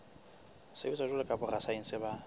sebetsa jwalo ka borasaense ba